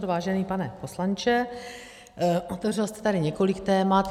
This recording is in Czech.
Vážený pane poslanče, otevřel jste tady několik témat.